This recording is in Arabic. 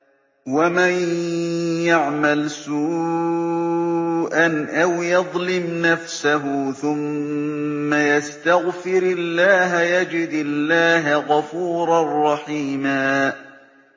وَمَن يَعْمَلْ سُوءًا أَوْ يَظْلِمْ نَفْسَهُ ثُمَّ يَسْتَغْفِرِ اللَّهَ يَجِدِ اللَّهَ غَفُورًا رَّحِيمًا